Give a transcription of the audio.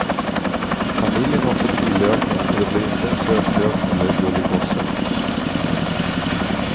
Familjen har fått tillökning och det blev inte en söt tös eller en gullig gosse.